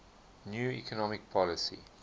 new economic policy